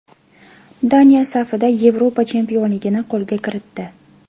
Daniya safida Yevropa chempionligini qo‘lga kiritdi.